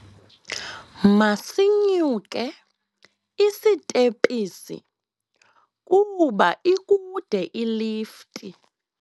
Masinyuke isitephisi kuba ikude ilifti.